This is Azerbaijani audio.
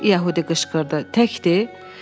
Yəhudi qışqırdı, təkdi?